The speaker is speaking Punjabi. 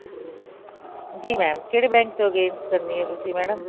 ਜੀ mam ਕਿਹੜੇ bank ਦੇ against ਕਰਨੀ ਹੈ ਤੁਸੀਂ madam